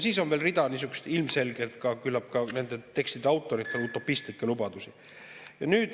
Siis on veel rida niisuguseid küllap ka nende tekstide autorite utopistlikke lubadusi.